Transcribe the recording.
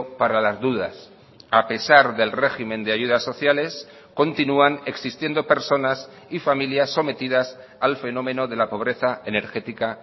para las dudas a pesar del régimen de ayudas sociales continúan existiendo personas y familias sometidas al fenómeno de la pobreza energética